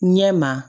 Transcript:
Ɲɛ ma